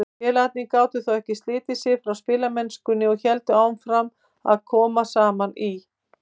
Félagarnir gátu þó ekki slitið sig frá spilamennskunni og héldu áfram að koma saman í